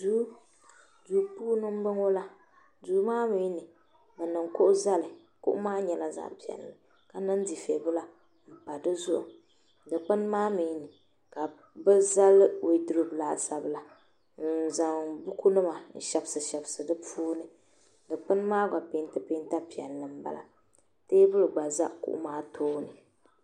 duu puuni n bɔŋɔ la duu maa mii ni bi niŋ kuɣu zali kuɣu maa nyɛla zaɣ piɛlli ka niŋ dufɛ bila n pa dizuɣu dikpuni maa mii ni ka bi zali woodurop laasabu n zaŋ buku nima n shɛbisi shɛbisi di puuni dikpuni maa gba peenti peenta piɛlli teebuli gba ʒɛ kuɣu maa tooni